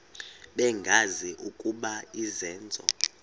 bengazi ukuba izenzo